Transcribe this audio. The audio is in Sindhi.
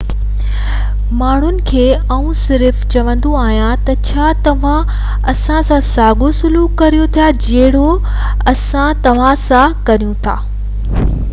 ماڻهن کي آئون صرف چوندو آهيان ته ڇا توهان اسان سان ساڳيو سلوڪ ڪريو ٿا جهڙو اسان توهان سان ڪريون ٿا